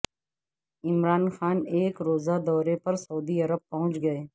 عمران خان ایک روزہ دورے پر سعودی عرب پہنچ گئے